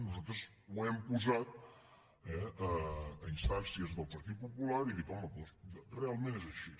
nosaltres ho hem posat eh a instàncies del partit popular i dic home doncs realment és així